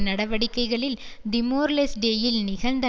நடவடிக்கைகளில் திமோர்லெஸ்டேயில் நிகழ்ந்த